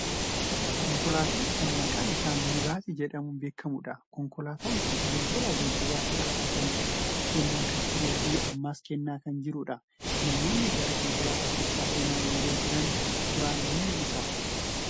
Konkolaataa kan maqaan isaa 'Miniibaasii' jedhamun beekamudha. Konkolaataan kun tajaajila geejjibaa si'ataa ta'e kennaa kan turee fi ammas kennaa kan jirudha. Namoonni gara konkolaataa kanaa seenaa yeroo jiran suuraan ni mul'isa.